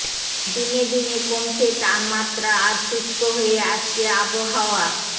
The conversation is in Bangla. দিনে দিনে কমছে তাপমাত্রা আর শুষ্ক হয়ে আসছে আবহাওয়া